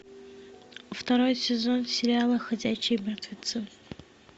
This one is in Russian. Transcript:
второй сезон сериала ходячие мертвецы